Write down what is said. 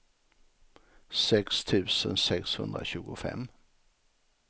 sex tusen sexhundratjugofem